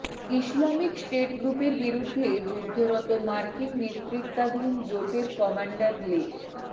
Islamic State গ্রুপের বিরুদ্ধে যুদ্ধরত মার্কিন নেতৃত্বাধীন জোটের কমান্ডার লে